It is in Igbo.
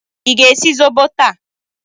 Ị ga-esi zobo taa?